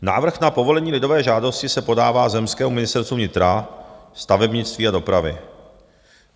Návrh na povolení lidové žádosti se podává zemskému ministerstvu vnitra, stavebnictví a dopravy.